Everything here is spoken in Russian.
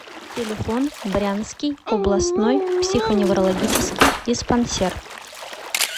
телефон брянский областной психоневрологический диспансер